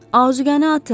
Ərzaqı atın!